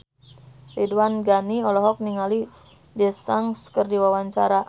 Ridwan Ghani olohok ningali Daesung keur diwawancara